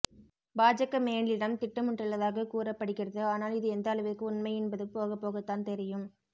பாஜக மேலிடம் திட்டமிட்டுள்ளதாக கூறப்படுகிறது ஆனால் இது எந்த அளவிற்கு உண்மை என்பது போகப்போகத்தான் தெரியும்